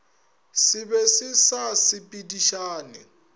se be se sa sepedišane